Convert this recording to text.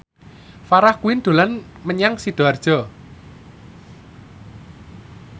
Farah Quinn dolan menyang Sidoarjo